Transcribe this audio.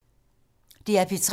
DR P3